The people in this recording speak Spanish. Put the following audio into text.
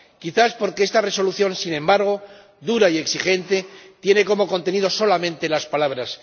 Quizá porque esta Resolución, sin embargo dura y exigente, tiene como contenido solamente las palabras.